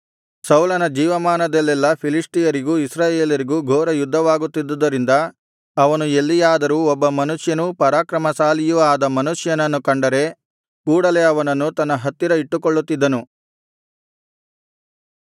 ಸೌಲನ ಜೀವಮಾನದಲ್ಲೆಲ್ಲಾ ಫಿಲಿಷ್ಟಿಯರಿಗೂ ಇಸ್ರಾಯೇಲರಿಗೂ ಘೋರ ಯುದ್ಧವಾಗುತ್ತಿದ್ದುದ್ದರಿಂದ ಅವನು ಎಲ್ಲಿಯಾದರೂ ಒಬ್ಬ ಬಲಿಷ್ಠನೂ ಪರಾಕ್ರಮಶಾಲಿಯೂ ಆದ ಮನುಷ್ಯನನ್ನು ಕಂಡರೆ ಕೂಡಲೆ ಅವನನ್ನು ತನ್ನ ಹತ್ತಿರ ಇಟ್ಟುಕೊಳ್ಳುತ್ತಿದ್ದನು